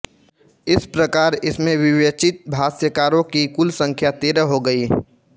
इस प्रकार इसमें विवेचित भाष्यकारों की कुल संख्या तेरह हो गयी